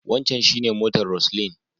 Wancan shi ne motar Roseline.